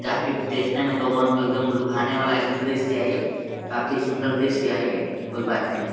काफी देखने में तो ये मन को एकदम लुभाने वाला एकदम दृश्य है ये काफी सुंदर दृश्य है ये कोई बात नहीं --